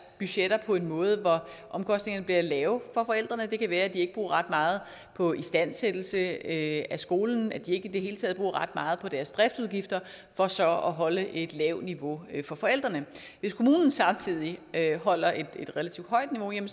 budgetter på en måde hvor omkostningerne bliver lave for forældrene det kan være at de ikke bruger ret meget på istandsættelse af skolen at de i det hele taget ikke bruger ret meget på deres driftsudgifter for så at holde et lavt niveau for forældrene hvis kommunen samtidig holder et relativt højt niveau kan